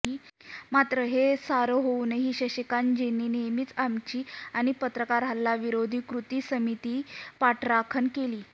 मात्र हे सारं होऊनही शशिकांतजींनी नेहमीच आमची आणि पत्रकार हल्ला विरोधी कृती समितीच पाठराखण केली